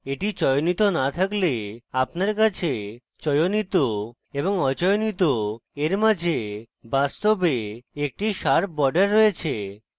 এটি চয়নিত না থাকলে আপনার কাছে চয়নিত এবং অচয়নিত এর মাঝে বাস্তবে একটি sharp border রয়েছে